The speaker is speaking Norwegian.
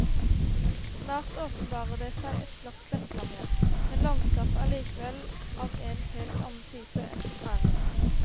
Snart åpenbarer det seg et flatt sletteland igjen, men landskapet er likevel av en helt annen type enn på prærien.